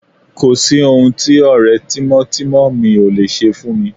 Kò sí ohun tí ọ̀rẹ́ tímọ́tímọ́ mi ò lè ṣe fúnni